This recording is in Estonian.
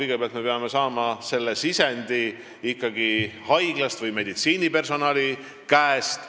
Me peame kõigepealt saama sisendi ikkagi haiglast või meditsiinipersonali käest.